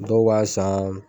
Dɔw b'a san.